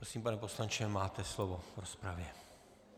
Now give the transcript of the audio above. Prosím, pane poslanče, máte slovo v rozpravě.